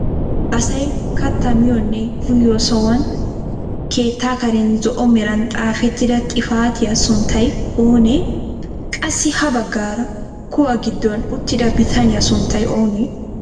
Asay kattaa miyoonne uyiyoo sohuwaan keettaa karen zo'o meran xaafettida xifatiyaa sunttay oonee? qassi ha baggaara kuwaa giddon uttida bitaniyaa sunttay oonee?